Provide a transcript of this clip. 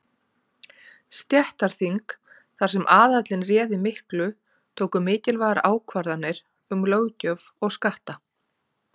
Stéttaþing, þar sem aðallinn réði miklu, tóku mikilvægar ákvarðanir um löggjöf og skatta.